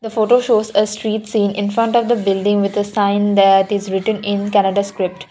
photo shows a street seen infront of the building signed is written in kannada script.